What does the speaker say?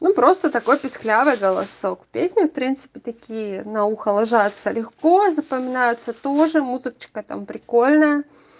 ну просто такой писклявый голосок песня в принципе такие на ухо ложатся легко запоминаются тоже музычка там прикольная